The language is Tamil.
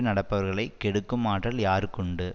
நடப்பவர்களைக் கெடுக்கும் ஆற்றல் யாருக்கு உண்டு